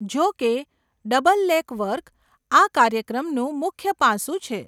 જોકે, double leg work આ કાર્યક્રમનું મુખ્ય પાસું છે.